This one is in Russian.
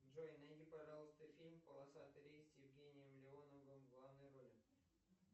джой найди пожалуйста фильм полосатый рейс с евгением леоновым в главной роли